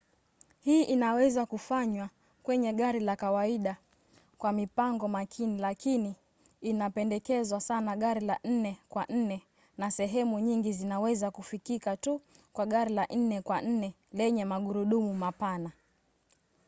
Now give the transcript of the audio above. hii inaweza kufanywa kwenye gari la kawaida kwa mipango makini lakini inapendekezwa sana gari la 4 kwa 4 na sehemu nyingi zinaweza kufikika tu kwa gari la 4 kwa 4 lenye magurudumu mapana